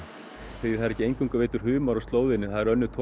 því það er ekki eingöngu veiddur humar á slóðinni það eru önnur